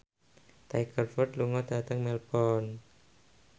Tiger Wood lunga dhateng Melbourne